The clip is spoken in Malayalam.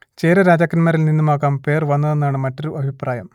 ചേര രാജാക്കന്മാരിൽ നിന്നുമാകാം പേർ വന്നതെന്നാണ് മറ്റൊരു അഭിപ്രായം